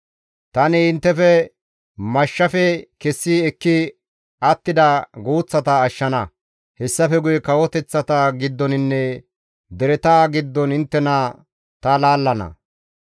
« ‹Tani inttefe mashshafe kessi ekki attida guuththata ashshana; hessafe guye kawoteththata giddoninne dereta giddon inttena ta laallana.